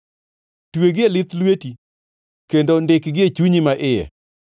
Twegi e lith lweti kendo ndikgi e chunyi maiye.